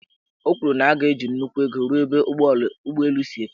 O kwuru na a ga-eji nnukwu ego rụọ ebe ụgbọelu si efepu.